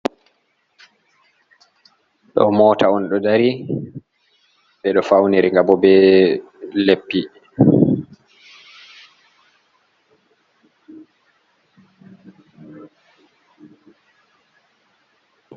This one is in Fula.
Ɗo mota on ɗou dari ɓeɗo fauniri nga bo be leppi.